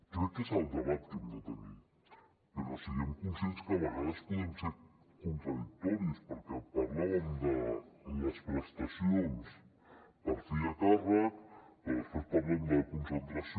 crec que és el debat que hem de tenir però siguem conscients que a vegades podem ser contradictoris perquè parlàvem de les prestacions per fill a càrrec però després parlem de concentració